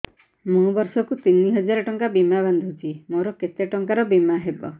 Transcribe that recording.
ମୁ ବର୍ଷ କୁ ତିନି ହଜାର ଟଙ୍କା ବୀମା ବାନ୍ଧୁଛି ମୋର କେତେ ଟଙ୍କାର ବୀମା ହବ